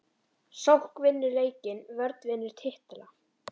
Sókn vinnur leiki vörn vinnur titla???